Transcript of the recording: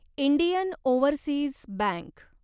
Indian overseas bank